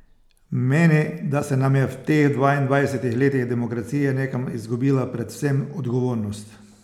Meni, da se nam je v teh dvaindvajsetih letih demokracije nekam izgubila predvsem odgovornost.